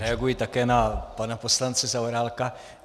Reaguji také na pana poslance Zaorálka.